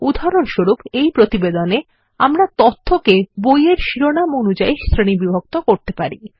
উদাহরণস্বরূপএইপ্রতিবেদনে আমরা তথ্য বইয়ের শিরোনাম অনুযায়ী শ্রেণীবিভক্ত করতে পারি